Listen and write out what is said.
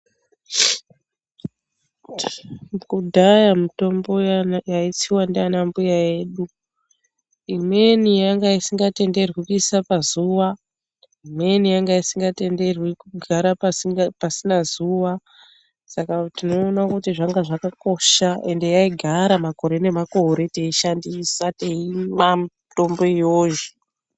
Kudhaya mutombo yaidyiwa naanambuya yedu. Imweni yanga isingatenderwi kuisa pazuwa. Imweni yanga isingatenderwi kugara pasina zuwa. Saka tinoona kuti zvanga zvakakosha ngekuti yaigara makore nemakore teiishandisa, teiimwa mitombo iyoyo.